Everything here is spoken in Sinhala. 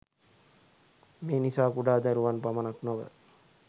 මේ නිසා කුඩා දරුවන් පමණක් නොව